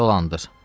Dolandır.